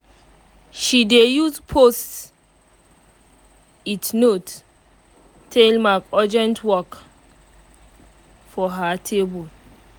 she dey use post-it note um tale mark urgent work um for her table um